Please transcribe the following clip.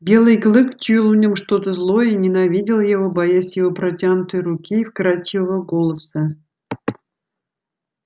белый клык чуял в нём что-то злое и ненавидел его боясь его протянутой руки и вкрадчивого голоса